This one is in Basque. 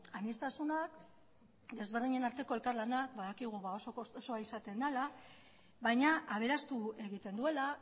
aniztasuna ezberdinen arteko elkar lana badakigu oso kostosoa izaten dela baina aberastu egiten duela